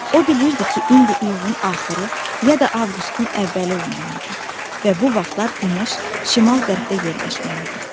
O bilirdi ki, indi iyulun axırı ya da avqustun əvvəli olmalı idi və bu vaxtlar günəş şimal qərbdə yerləşməli idi.